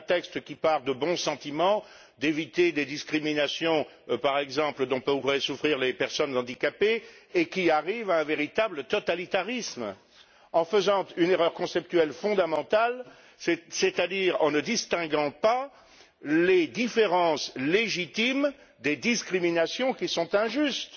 C'est un texte qui part de bons sentiments afin d'éviter des discriminations dont pourraient souffrir, par exemple, les personnes handicapées, et qui arrive à un véritable totalitarisme en faisant une erreur conceptuelle fondamentale, c'est à dire en ne distinguant pas les différences légitimes des discriminations qui sont injustes.